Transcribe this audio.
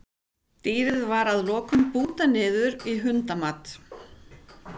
Dýrið var að lokum bútað niður í hundamat.